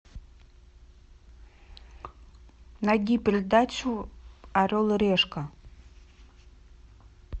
найди передачу орел и решка